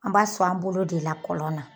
An b'a sɔn an bolo de la kɔlɔn na